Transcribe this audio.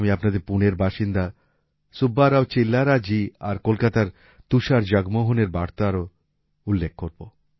আমি আপনাদের পুণের বাসিন্দা সুব্বা রাও চিল্লারা জী আর কলকাতার তুষার জগমোহনের বার্তার উল্লেখও করব